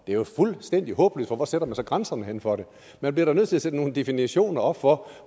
det er jo fuldstændig håbløst for hvor sætter man så grænserne for det man bliver da nødt til at sætte nogle definitioner op for